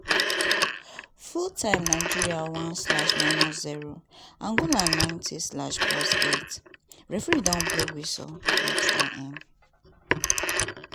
full time nigeria one slash minus zero angola ninety slash plus eight referee don blow whistle match don end.